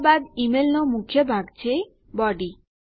ત્યારબાદ ઈમેલનો મુખ્ય ભાગ છે બોડી